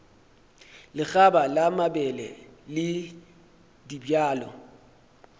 lekgaba la mabele le dibjalo